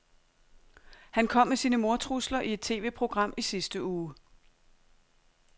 Han kom med sine mordtrusler i et TVprogram i sidste uge.